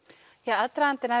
aðdragandinn að